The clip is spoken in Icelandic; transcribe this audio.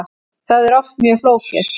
Það er oft mjög flókið.